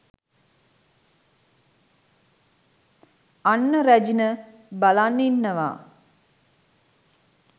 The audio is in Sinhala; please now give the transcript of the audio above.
අන්න රැජින බලන් ඉන්නවා